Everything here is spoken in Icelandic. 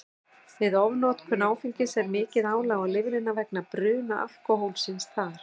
Við ofnotkun áfengis er mikið álag á lifrina vegna bruna alkóhólsins þar.